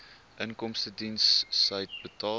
inkomstediens said inbetaal